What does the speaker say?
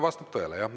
Vastab tõele, jah.